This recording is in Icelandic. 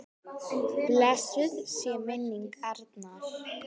Blessuð sé minning Arnar.